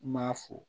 N m'a fo